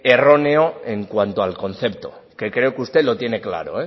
erróneo en cuanto al concepto que creo que usted lo tiene claro